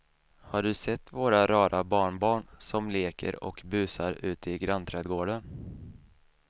Har du sett våra rara barnbarn som leker och busar ute i grannträdgården!